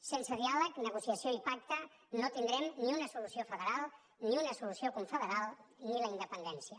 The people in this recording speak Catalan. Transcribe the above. sense diàleg negociació i pacte no tindrem ni una solució federal ni una solució confederal ni la independència